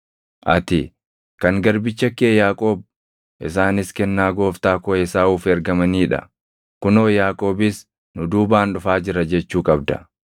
ati, ‘Kan garbicha kee Yaaqoob. Isaanis kennaa gooftaa koo Esaawuuf ergamanii dha; kunoo, Yaaqoobis nu duubaan dhufaa jira’ jechuu qabda.”